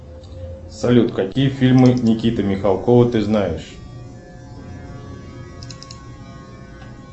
салют какие фильмы никиты михалкова ты знаешь